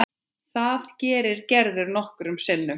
Það gerir Gerður nokkrum sinnum.